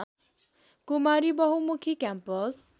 Kumari Bahumukhi campus